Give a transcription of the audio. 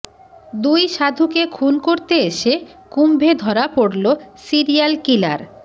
দুই সাধুকে খুন করতে এসে কুম্ভে ধরা পড়ল সিরিয়াল কিলার